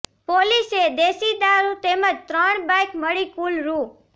પોલીસે દેશી દારૃ તેમજ ત્રણ બાઈક મળી કુલ રૃ